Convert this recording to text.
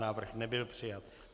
Návrh nebyl přijat.